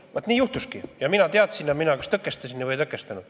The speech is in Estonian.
Et vaat nii juhtuski ja mina teadsin ja kas tõkestasin või ei tõkestanud.